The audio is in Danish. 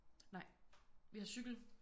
Nej vi har cykel